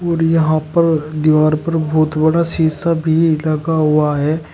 और यहां पर दीवार पर बहुत बड़ा शीशा भी लगा हुआ हैं।